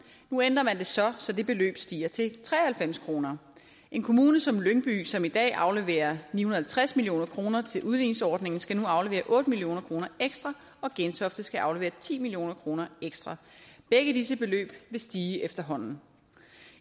nu ændrer man det så så det beløb stiger til tre og halvfems kroner en kommune som lyngby som i dag afleverer ni hundrede og halvtreds million kroner til udligningsordningen skal nu aflevere otte million kroner ekstra og gentofte skal aflevere ti million kroner ekstra begge disse beløb vil stige efterhånden